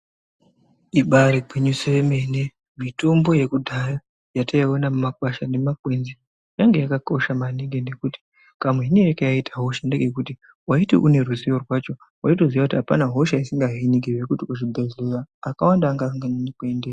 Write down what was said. Ibaari gwinyiso yemene, mitombo yekudhaya yataiona kumakwasha nemakwenzi yanga yakakosha maningi nekuti kamuhinire kayaiita hosha ndekekuti waiti une ruzivo rwacho waitoziva kuti hapana hosha isingahiniki ngekuti kuzvibhedhleyaa akawanda anga asinganyanyi kuendeyo.